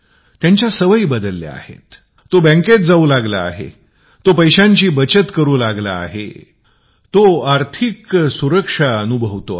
त्याच्या सवयी बदलल्या आहेत तो बँकेत जाऊ लागला आहे तो पैसे बचत करू लागला आहे